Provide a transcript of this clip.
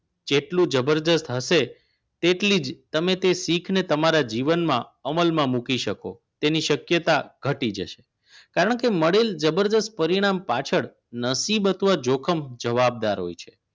કેટલું જબરદસ્ત હશે તેટલી જ તમે તે શીખને તમારા જીવનમાં અમલમાં મૂકી શકો તેની શક્યતા ઘટી જશે કારણ કે મળેલ જબરદસ્ત પરિણામ પાછળ નસીબ અથવા જોખમ જવાબદાર હોય છે